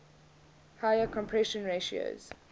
higher compression ratios